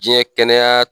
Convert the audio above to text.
Diɲɛ kɛnɛya